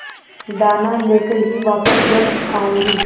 दाना लेकर ही वापस घर आऊँगी